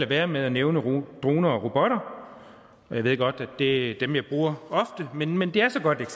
være med at nævne droner og robotter og jeg ved godt at det ofte er dem jeg bruger men men det er så godt et